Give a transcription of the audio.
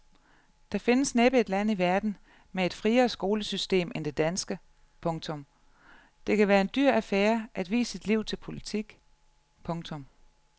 Der findes næppe et land i verden med et friere skolesystem end det danske. punktum Det kan være en dyr affære at vie sit liv til politik. punktum